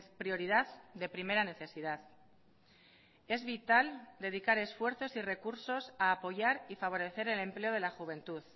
prioridad de primera necesidad es vital dedicar esfuerzos y recursos a apoyar y favorecer el empleo de la juventud